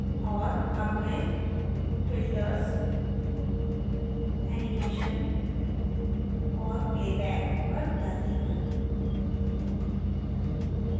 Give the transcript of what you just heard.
और अब मैं filters animation और playback पर जाती हूँ